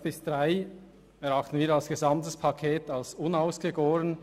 bis 47.5.3 erachten wir insgesamt als unausgegoren.